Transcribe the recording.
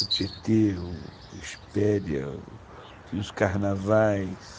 O Tietê, o Espéria, tinha os carnavais.